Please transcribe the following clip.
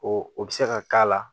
O o bɛ se ka k'a la